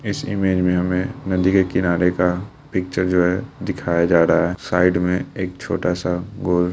इस इमेज में हमें नदी के किनारे का पिच्चर जो है दिखाया जा रहा है साइड में एक छोटा सा गोल --